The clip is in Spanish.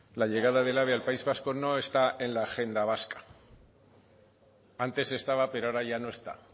la llegada del ave al país vasco no está en la agenda vasca antes estaba pero ahora ya no está